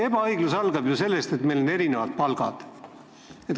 Ebaõiglus algab ju sellest, et meil on erinevad palgad.